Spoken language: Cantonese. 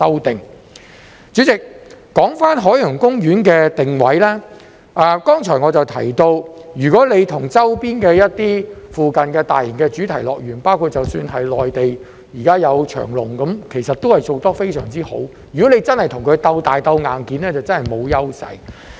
代理主席，說回海洋公園的定位，正如我剛才提到，如果要與周邊或附近一些大型主題樂園，包括內地——現時有長隆，其實都是做得非常之好——如果真的要與這些樂園鬥大、鬥硬件，海洋公園真的沒有優勢。